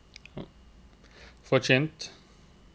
forkynt